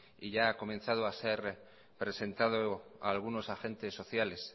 y ya ha comenzado a ser presentado a algunos agentes sociales